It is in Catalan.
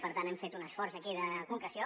per tant hem fet un esforç aquí de concreció